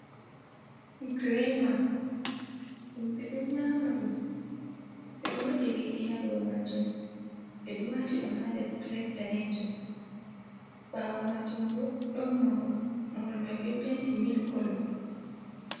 Grema. Himɓe ɗo nyama ɗum, be ɗo waɗi riɗi haa dou maajum. Ɓe ɗo waati ɗum haa nder pilet danejum. Ɓaawo maajum bo, ɗon mahol. Mahol mai be penti mil kolo.